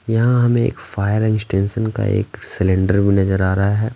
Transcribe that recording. यहाँ हमें एक फायर एक्सटेंशन का एक सिलेंडर भी नजर आ रहा है।